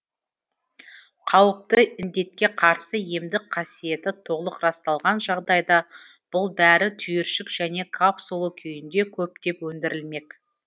қауіпті індетке қарсы емдік қасиеті толық расталған жағдайда бұл дәрі түйіршік және капсула күйінде көптеп өндірілмек